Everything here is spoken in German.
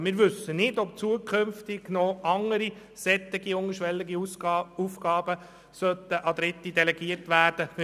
Wir wissen nicht, ob zukünftig nicht noch weitere solche niederschwelligen Aufgaben an Dritte delegiert werden sollten.